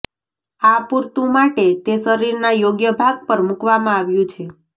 આ પૂરતું માટે તે શરીરના યોગ્ય ભાગ પર મૂકવામાં આવ્યું છે